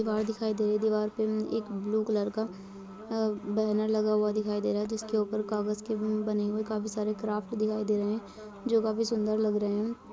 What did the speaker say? दीवार दिखाई दे रही है दीवार पे अ एक ब्लू कलर का अ बैनर लगा हुआ दिखाई दे रहा है जिस के ऊपर कागज़ के उ बने हुए हैकाफी सारे क्राफ्ट दिखाई दे रहे है जो काफी सुन्दर लग रहें हैं।